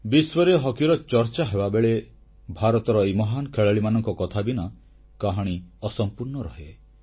ବିଶ୍ୱରେ ହକିର ଚର୍ଚ୍ଚା ହେବାବେଳେ ଭାରତର ଏହି ମହାନ ଖେଳାଳିମାନଙ୍କ କଥା ବିନା କାହାଣୀ ଅସମ୍ପୂର୍ଣ୍ଣ ରହେ